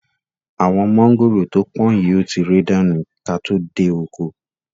Àwọn mọ̀ngòrò to pọ̀n yìí ó ti rẹ̀ dànù ka tó dé oko.